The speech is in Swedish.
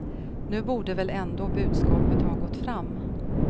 Nu borde väl ändå budskapet ha gått fram.